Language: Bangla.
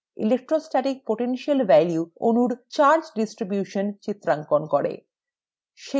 electrostatic potential values অনুর charge distributions চিত্রাঙ্কন করে